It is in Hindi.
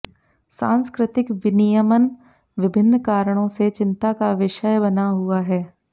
सांस्कृतिक विनियमन विभिन्न कारणों से चिंता का विषय बना हुआ है